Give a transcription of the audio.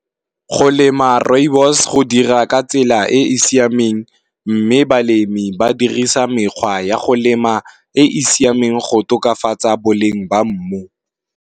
Go lema rooibos go dira ka tsela e e siameng, mme balemi ba dirisa mekgwa ya go lema e e siameng go tokafatsa boleng ba mmu.